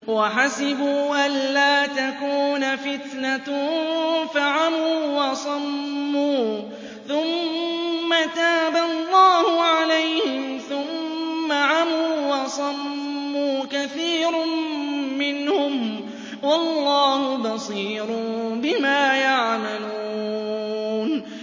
وَحَسِبُوا أَلَّا تَكُونَ فِتْنَةٌ فَعَمُوا وَصَمُّوا ثُمَّ تَابَ اللَّهُ عَلَيْهِمْ ثُمَّ عَمُوا وَصَمُّوا كَثِيرٌ مِّنْهُمْ ۚ وَاللَّهُ بَصِيرٌ بِمَا يَعْمَلُونَ